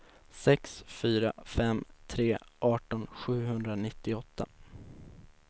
sex fyra fem tre arton sjuhundranittioåtta